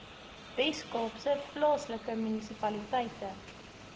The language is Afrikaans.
weskaapse plaaslike munisipaliteite